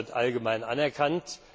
das wird allgemein anerkannt.